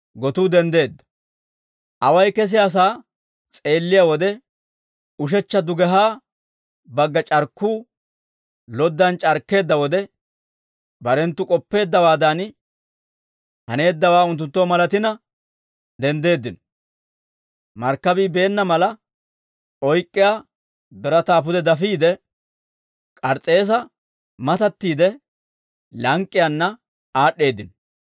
Away kesiyaasaa s'eelliyaa wode ushechcha dugehaa bagga c'arkkuu loddan c'arkkeedda wode, barenttu k'oppeeddawaadan haneeddawaa unttunttoo malatina denddeeddino; markkabii beenna mala oyk'k'iyaa birataa pude dafiide, K'ars's'eesa matattiide, lank'k'iyaanna aad'd'eeddino.